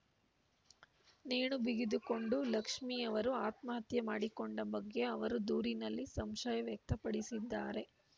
ನೇಣು ಬಿಗಿದುಕೊಂಡು ಲಕ್ಷ್ಮೀ ಅವರು ಆತ್ಮಹತ್ಯೆ ಮಾಡಿಕೊಂಡ ಬಗ್ಗೆ ಅವರು ದೂರಿನಲ್ಲಿ ಸಂಶಯ ವ್ಯಕ್ತಪಡಿಸಿದ್ದಾರೆ